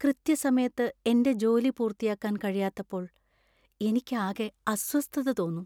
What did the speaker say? കൃത്യസമയത്ത് എന്‍റെ ജോലി പൂർത്തിയാക്കാൻ കഴിയാത്തപ്പോൾ എനിക്ക് ആകെ അസ്വസ്ഥത തോന്നും.